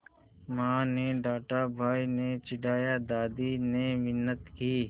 माँ ने डाँटा भाई ने चिढ़ाया दादी ने मिन्नत की